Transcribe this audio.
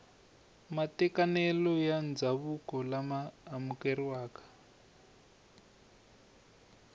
matekanelo ya ndzhavuko lama amukeriwaka